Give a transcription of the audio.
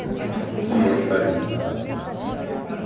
Almoxarifado. almoxarifado